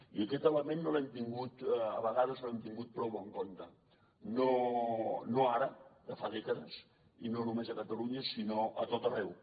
i aquest element a vegades no l’hem tingut prou en compte no ara de fa dècades i no només a catalunya sinó a tot arreu